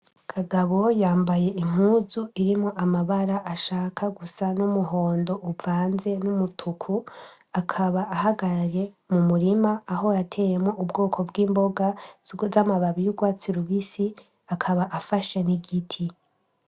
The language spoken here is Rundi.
Kagabo yambaye impuzu irimwo amabara ashaka gusa n'umuhondo uvanze n'umutuku akaba ahagarye mu murima aho yateyemo ubwoko bw'imboga zugo z'amababi y'ugwatsi lubisi akaba afashe n'igiti.